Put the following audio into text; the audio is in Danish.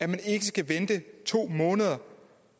man ikke skal vente to måneder